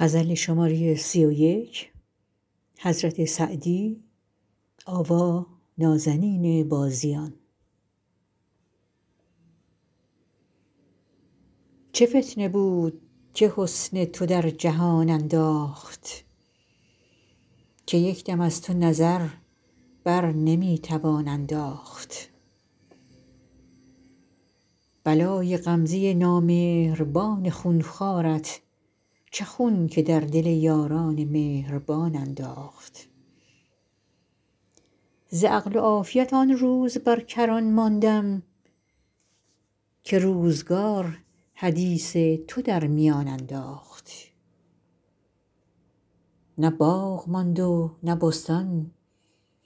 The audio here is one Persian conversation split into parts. چه فتنه بود که حسن تو در جهان انداخت که یک دم از تو نظر بر نمی توان انداخت بلای غمزه نامهربان خون خوارت چه خون که در دل یاران مهربان انداخت ز عقل و عافیت آن روز بر کران ماندم که روزگار حدیث تو در میان انداخت نه باغ ماند و نه بستان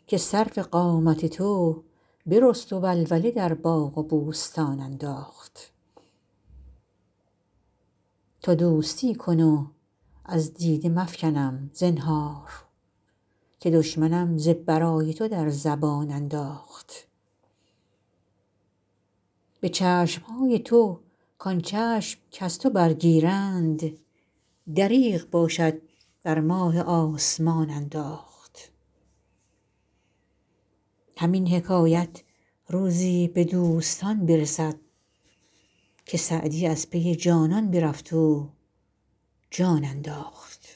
که سرو قامت تو برست و ولوله در باغ و بوستان انداخت تو دوستی کن و از دیده مفکنم زنهار که دشمنم ز برای تو در زبان انداخت به چشم های تو کان چشم کز تو برگیرند دریغ باشد بر ماه آسمان انداخت همین حکایت روزی به دوستان برسد که سعدی از پی جانان برفت و جان انداخت